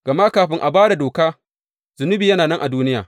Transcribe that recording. Gama kafin a ba da doka, zunubi yana nan a duniya.